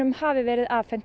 hafi verið afhent